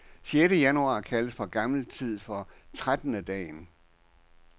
Sjette januar kaldes fra gammel tid for trettendedagen.